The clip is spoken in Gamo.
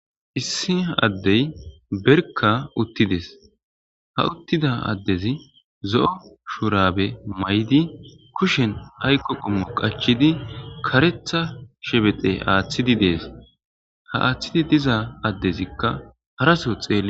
issi a addey berka uttides ha uttida addezi zo7o shuurabe may7di kushen hayqo qummo qachidi karetha shebete aaththidi dees ha aaththidi diza addezikka haraso xeel